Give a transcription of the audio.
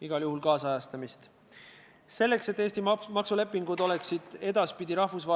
Praegu on meresõiduohutuse igati viisaka pintsakunööbi külge õmmeldud veel auklik kuub.